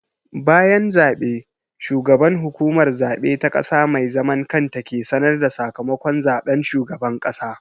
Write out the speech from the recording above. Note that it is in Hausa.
Bayan zaɓe, shugaban Hukumar Zaɓe ta ƙasa mai zaman kanta ke sanar da sakamakon zaɓen shugaban ƙasa.